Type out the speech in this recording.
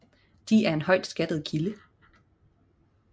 De er en højt skattet kilde